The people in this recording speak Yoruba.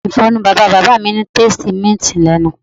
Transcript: Mi grandfather toothpaste ni o ni a minty lenu